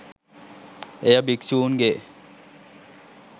එය භික්ෂූන්ගේ